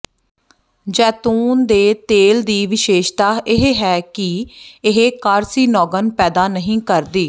ਜੈਤੂਨ ਦੇ ਤੇਲ ਦੀ ਵਿਸ਼ੇਸ਼ਤਾ ਇਹ ਹੈ ਕਿ ਇਹ ਕਾਰਸੀਨੋਗਨ ਪੈਦਾ ਨਹੀਂ ਕਰਦੀ